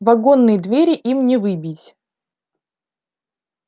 вагонные двери им не выбить